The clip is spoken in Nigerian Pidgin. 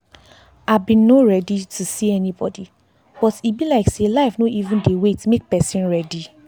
i been no ready to see anybody but e be like say life no even dey wait make person ready.